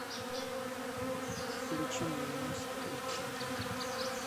включи мне мост эйч ди